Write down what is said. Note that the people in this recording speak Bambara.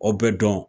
O bɛ dɔn